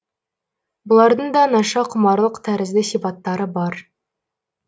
бұлардың да наша құмарлық тәрізді сипаттары бар